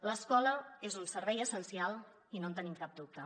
l’escola és un servei essencial i no en tenim cap dubte